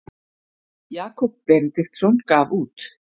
jakob benediktsson gaf út